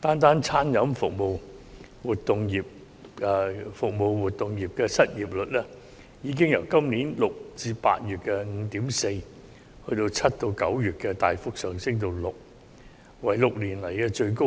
單是餐飲服務活動業的失業率，已由今年6月至8月的 5.4%， 大幅上升至7月至9月的 6%， 是6年以來的新高，